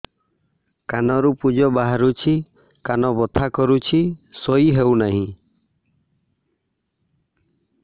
କାନ ରୁ ପୂଜ ବାହାରୁଛି କାନ ବଥା କରୁଛି ଶୋଇ ହେଉନାହିଁ